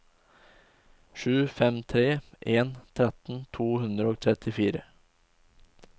sju fem tre en tretten to hundre og trettitre